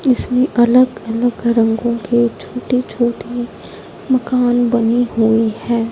इसमें अलग अलग रंगों के छोटे छोटे मकान बने हुए है।